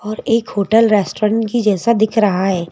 और एक hotel restaurant की जैसा दिख रहा है।